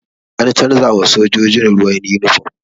An canza ma sojojin ruwa yunifom